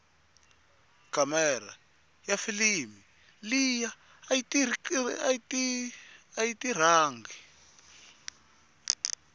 kamera yafilimu liya ayiti rhangi